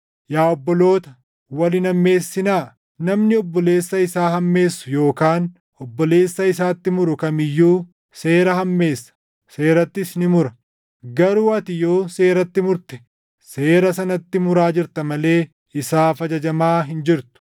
Yaa obboloota, wal hin hammeessinaa. Namni obboleessa isaa hammeessu yookaan obboleessa isaatti muru kam iyyuu seera hammeessa; seerattis ni mura. Garuu ati yoo seeratti murte seera sanatti muraa jirta malee isaaf ajajamaa hin jirtu.